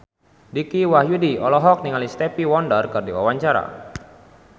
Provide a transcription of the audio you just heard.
Dicky Wahyudi olohok ningali Stevie Wonder keur diwawancara